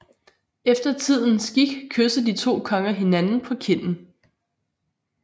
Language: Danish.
Efter tidens skik kyssede de to konger hinanden på kinden